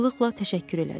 Razılıqla təşəkkür elədi.